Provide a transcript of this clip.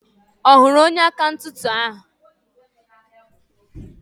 Ọ hụrụ onye akaụntanti ahụ?